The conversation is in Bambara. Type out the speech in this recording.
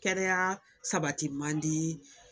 Kɛnɛya sabati mandi